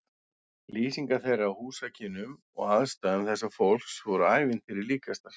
Lýsingar þeirra á húsakynnum og aðstæðum þessa fólks voru ævintýri líkastar.